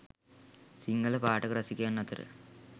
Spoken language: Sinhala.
සිංහල පාඨක රසිකයන් අතර